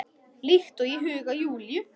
Líkt og í huga Júlíu.